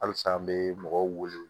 Halisa an be mɔgɔw wele